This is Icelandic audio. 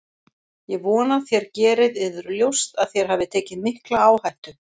Ég vona þér gerið yður ljóst að þér hafið tekið mikla áhættu.